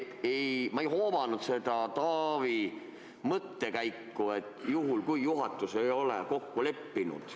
Ehk ma ei hoomanud Taavi mõttekäiku, et juhul, kui juhatus ei ole kokku leppinud ...